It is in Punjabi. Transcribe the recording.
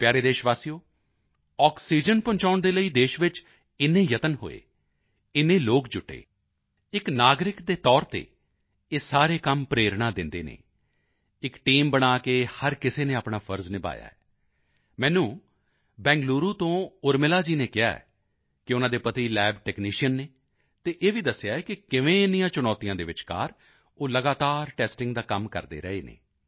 ਮੇਰੇ ਪਿਆਰੇ ਦੇਸ਼ਵਾਸੀਓ ਆਕਸੀਜਨ ਪਹੁੰਚਾਉਣ ਦੇ ਲਈ ਦੇਸ਼ ਵਿੱਚ ਇੰਨੇ ਯਤਨ ਹੋਏ ਇੰਨੇ ਲੋਕ ਜੁਟੇ ਇੱਕ ਨਾਗਰਿਕ ਦੇ ਤੌਰ ਤੇ ਇਹ ਸਾਰੇ ਕੰਮ ਪ੍ਰੇਰਣਾ ਦਿੰਦੇ ਹਨ ਇੱਕ ਟੀਮ ਬਣ ਕੇ ਹਰ ਕਿਸੇ ਨੇ ਆਪਣਾ ਫ਼ਰਜ਼ ਨਿਭਾਇਆ ਹੈ ਮੈਨੂੰ ਬੈਂਗਲੂਰੂ ਤੋਂ ਉਰਮਿਲਾ ਜੀ ਨੇ ਕਿਹਾ ਹੈ ਕਿ ਉਨ੍ਹਾਂ ਦੇ ਪਤੀ ਲੱਬ ਟੈਕਨੀਸ਼ੀਅਨ ਹਨ ਅਤੇ ਇਹ ਵੀ ਦੱਸਿਆ ਹੈ ਕਿ ਕਿਵੇਂ ਇੰਨੀਆਂ ਚੁਣੌਤੀਆਂ ਦੇ ਵਿਚਕਾਰ ਉਹ ਲਗਾਤਾਰ ਟੈਸਟਿੰਗ ਦਾ ਕੰਮ ਕਰਦੇ ਰਹੇ ਹਨ